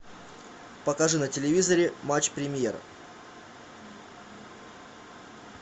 покажи на телевизоре матч премьер